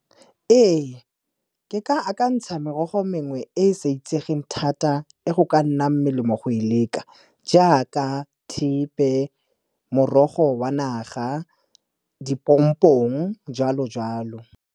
Ee, ke ka akantsha merogo mengwe e e sa itsegeng thata e go ka nnang melemo go e leka, jaaka thepe, morogo wa naga, dipompong, jwalo-jwalo.